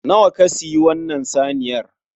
Nawa ka siyi wannan saniyar?